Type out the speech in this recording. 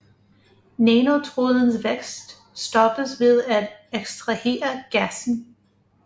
Nanotrådens vækst stoppes ved at ekstrahere gassen